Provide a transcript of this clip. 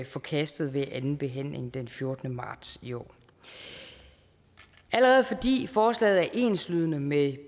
forkastet ved anden behandling den fjortende marts i år allerede fordi forslaget er enslydende med